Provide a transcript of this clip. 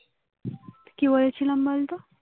কি বলেছিলাম বলতো